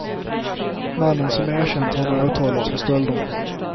Mannen som erkänt har nu åtalats för stölderna.